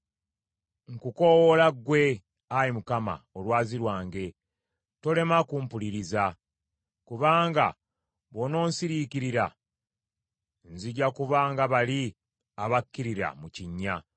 Nkukoowoola ggwe, Ayi Mukama , Olwazi lwange, tolema kumpuliriza; kubanga bw’onoonsiriikirira nzija kuba nga bali abakkirira mu kinnya.